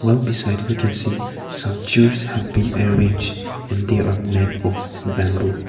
well beside we can see some juts have been arranged and they are made of bamboo.